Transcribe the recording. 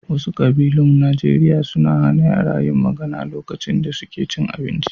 Wasu ƙabilun Najeriya suna hana yara yin magana lokacin da suke cin abinci.